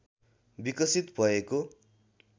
विकसित भएको